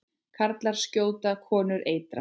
Karlar skjóta, konur eitra.